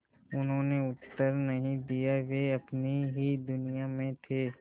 उन्होंने उत्तर नहीं दिया वे अपनी ही दुनिया में थे